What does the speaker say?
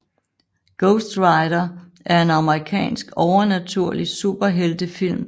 Ghost Rider er en amerikansk overnaturlig superheltefilm fra 2007